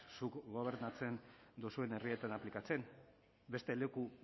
zuek gobernatzen duzuen herrietan aplikatzen beste leku